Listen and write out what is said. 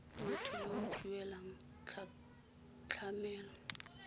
motho yo o duelang tlamelo